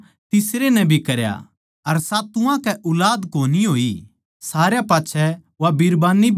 अर सातुवां कै ऊलाद कोनी होई सारया पाच्छै वा बिरबान्नी भी मरगी